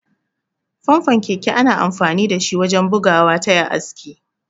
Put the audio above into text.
Famfon keke ana amfani dashi wajen bugawa taya iska.